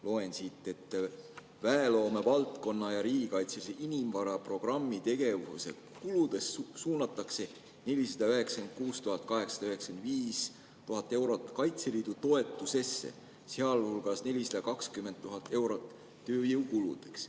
Loen siit, et väeloome valdkonna ja riigikaitselise inimvara programmi tegevuste kuludest suunatakse 496 895 eurot Kaitseliidu toetusesse, sealhulgas 420 000 eurot tööjõukuludeks.